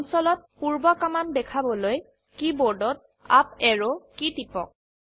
কনসোলত পূৰ্ব কমান্ড দেখাবলৈ কিবৰ্ডত আপ অ্যাৰো কী টিপক